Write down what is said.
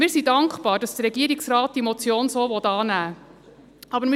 Wir sind dankbar, dass der Regierungsrat diese Motion so annehmen will.